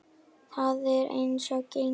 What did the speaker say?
Það er eins og gengur.